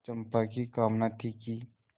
चंपा की कामना थी कि